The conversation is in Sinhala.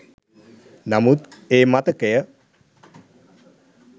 නමුත් ඒ මතකය